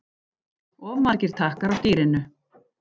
Of margir takkar á stýrinu